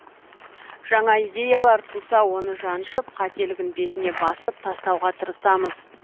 жаңа идеялар туса оны жаншып қателігін бетіне басып тастауға тырысамыз